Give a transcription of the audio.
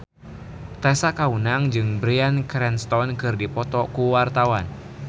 Tessa Kaunang jeung Bryan Cranston keur dipoto ku wartawan